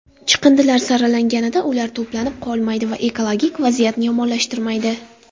Chiqindilar saralanganida ular to‘planib qolmaydi va ekologik vaziyatni yomonlashtirmaydi.